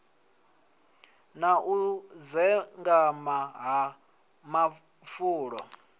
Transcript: na u dzengama ha mafulo